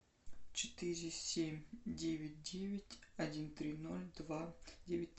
четыре семь девять девять один три ноль два девять